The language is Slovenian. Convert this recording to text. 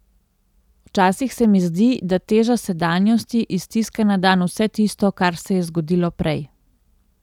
Včasih se mi zdi, da teža sedanjosti iztiska na dan vse tisto, kar se je zgodilo prej.